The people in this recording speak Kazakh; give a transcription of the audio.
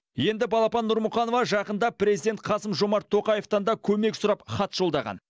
енді балапан нұрмұқанова жақында президент қасым жомарт тоқаевтан да көмек сұрап хат жолдаған